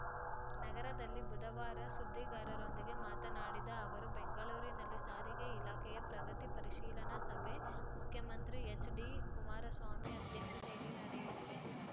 ನಗರದಲ್ಲಿ ಬುಧವಾರ ಸುದ್ದಿಗಾರರೊಂದಿಗೆ ಮಾತನಾಡಿದ ಅವರು ಬೆಂಗಳೂರಿನಲ್ಲಿ ಸಾರಿಗೆ ಇಲಾಖೆಯ ಪ್ರಗತಿ ಪರಿಶೀಲನಾ ಸಭೆ ಮುಖ್ಯಮಂತ್ರಿ ಎಚ್‌ಡಿಕುಮಾರಸ್ವಾಮಿ ಅಧ್ಯಕ್ಷತೆಯಲ್ಲಿ ನಡೆಯಲಿದೆ